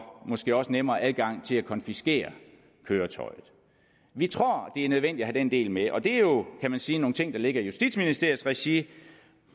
måske også nemmere adgang til at konfiskere køretøjet vi tror det er nødvendigt at have den del med og det er jo kan man sige nogle ting der ligger i justitsministeriets regi